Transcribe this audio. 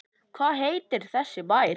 Hvað heitir þessi bær?